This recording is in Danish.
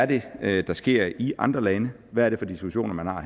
det er der sker i andre lande hvad er det for diskussioner man har